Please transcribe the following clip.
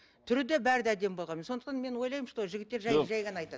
түрі де бәрі де әдемі болғанмен сондықтан мен ойлаймын что жігіттер жай ғана айтады